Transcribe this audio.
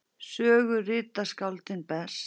Sögu rita skáldin best.